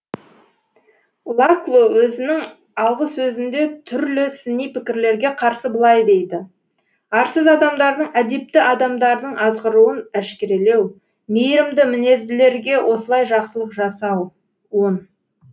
лакло өзінің алғысөзінде түрлі сыни пікірлерге қарсы былай дейді арсыз адамдардың әдепті адамдардың азғыруын әшкерелеу мейірімді мінезділерге осылай жақсылық жасау он